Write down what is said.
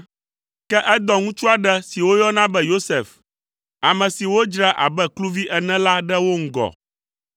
ke edɔ ŋutsu aɖe si woyɔna be Yosef, ame si wodzra abe kluvi ene la ɖe wo ŋgɔ.